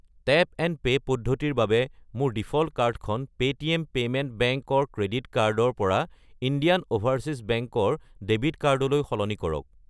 Tap and pay পদ্ধতিৰ বাবে মোৰ ডিফ'ল্ট কাৰ্ডখন পে'টিএম পেমেণ্ট বেংক ৰ ক্ৰেডিট কাৰ্ড ৰ পৰা ইণ্ডিয়ান অ'ভাৰচীজ বেংক ৰ ডেবিট কাৰ্ড লৈ সলনি কৰক।